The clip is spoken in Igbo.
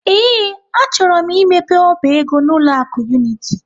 Ee, achọrọ m imepe ọba ego n'ụlọ akụ Unity.